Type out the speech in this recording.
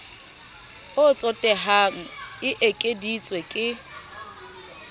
o tsotehang e ekeditswe ke